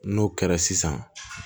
N'o kɛra sisan